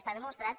està demostrat